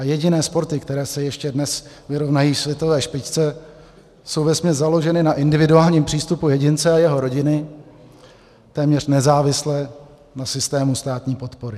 A jediné sporty, které se ještě dnes vyrovnají světové špičce, jsou vesměs založeny na individuálním přístupu jedince a jeho rodiny, téměř nezávisle na systému státní podpory.